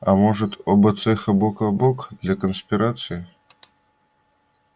а может оба цеха бок о бок для конспирации